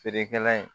Feerekɛla in